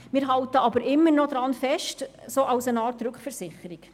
Trotzdem halten wir weiterhin an ihnen fest – sozusagen als Rückversicherung.